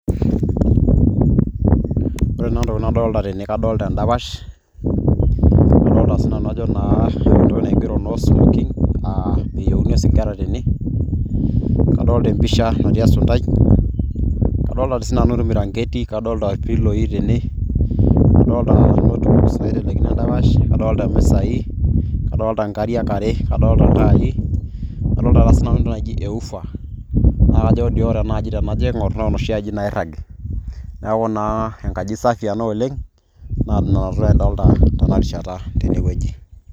Ore naa intokiting' nadolta tene, kadolta endapash, nadolta sinanu ajo naa entoki naigero "No smoking " ,ah meyieuni osigara tene. Nadolta empisha tene natii esuntai, kadolta si nanu ormiranketi, kadolta irpiloi tene, kadolta notebook naitelekino endapash. Adolta imisai. Adolta nkariak are. Adolta iltai. Adolta na sinanu entoki naji ewufa, na kajo doi ore enaaji tenajo aing'or, na noshi aji nairragi. Neeku naa enkaji safi ena oleng' na nena tokiting' ta adolta tenarishata tenewueji.